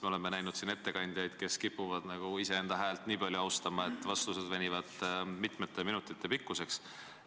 Me oleme siin näinud ettekandjaid, kes kipuvad iseenda häält nii palju nautima, et vastused venivad mitmete minutite pikkuseks.